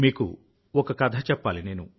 మీకొక కథ చెప్పాలి నేను